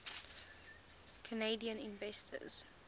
canadian inventors